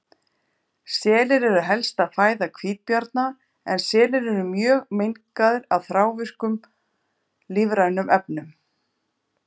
Selir eru helsta fæða hvítabjarna en selir eru mjög mengaðir af þrávirkum lífrænum efnum.